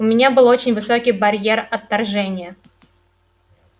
у меня был очень высокий барьер отторжения